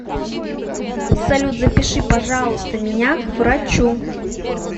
салют запиши пожалуйста меня к врачу